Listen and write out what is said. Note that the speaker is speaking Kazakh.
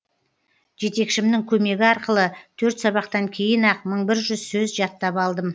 жетекшімнің көмегі арқылы төрт сабақтан кейін ақ мың бір жүз сөз жаттап алдым